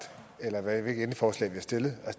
for